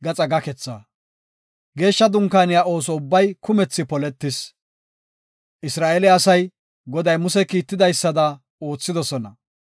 Geeshsha Dunkaaniya ooso ubbay kumethi poletis. Isra7eele asay, Goday Muse kiitidaysada oothidosona.